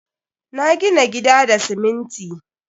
Na gina gida da siminti.